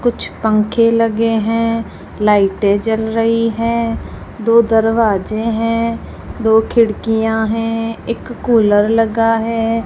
कुछ पंखे लगे हैं लाइटे जल रही है दो दरवाजे हैं दो खिड़कियां हैं एक कूलर लगा है।